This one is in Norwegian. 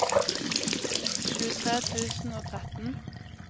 tjuetre tusen og tretten